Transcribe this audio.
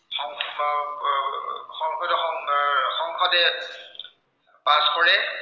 সংসদে pass কৰে